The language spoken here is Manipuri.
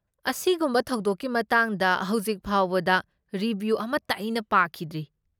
ꯑꯁꯤꯒꯨꯝꯕ ꯊꯧꯗꯣꯛꯀꯤ ꯃꯇꯥꯡꯗ ꯍꯧꯖꯤꯛ ꯐꯥꯎꯕꯗ ꯔꯤꯚ꯭ꯌꯨ ꯑꯃꯠꯇ ꯑꯩꯅ ꯄꯥꯈꯤꯗ꯭ꯔꯤ꯫